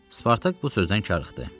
Spartak bu sözdən karıxdı.